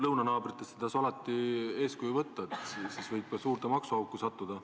Lõunanaabritest ei tasu alati eeskuju võtta, siis võib suurde maksuauku sattuda.